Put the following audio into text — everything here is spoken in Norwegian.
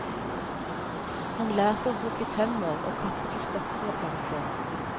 Han lærte å hugge tømmer og å kappe til stokker og planker.